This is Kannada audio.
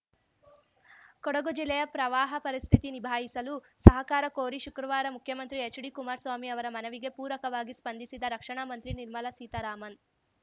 ಕೊಡಗು ಜಿಲ್ಲೆಯ ಪ್ರವಾಹ ಪರಿಸ್ಥಿತಿ ನಿಭಾಯಿಸಲು ಸಹಕಾರ ಕೋರಿ ಶುಕ್ರವಾರ ಮುಖ್ಯಮಂತ್ರಿ ಎಚ್‌ಡಿಕುಮಾರಸ್ವಾಮಿ ಅವರ ಮನವಿಗೆ ಪೂರಕವಾಗಿ ಸ್ಪಂದಿಸಿದ ರಕ್ಷಣಾ ಮಂತ್ರಿ ನಿರ್ಮಲ ಸೀತಾರಾಮನ್‌